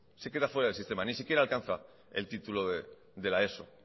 se queda fuera del sistema ni siquiera alcanza el título de la eso